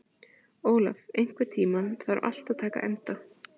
Olaf, einhvern tímann þarf allt að taka enda.